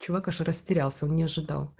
чувак аж растерялся он не ожидал